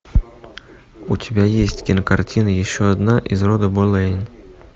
у тебя есть кинокартина еще одна из рода болейн